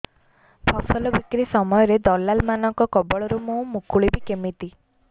ଫସଲ ବିକ୍ରୀ ସମୟରେ ଦଲାଲ୍ ମାନଙ୍କ କବଳରୁ ମୁଁ ମୁକୁଳିଵି କେମିତି